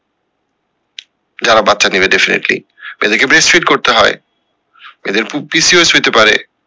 যারা বাচ্চা নিবে definitely তাদের কে breast feed করতে হয় এদের হইতে পারে